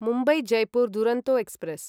Mumbai Jaipur Duronto express